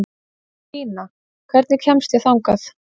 Bína, hvernig kemst ég þangað?